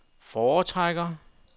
foretrækker